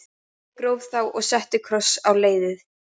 Ég gróf þá og setti kross á leiðið.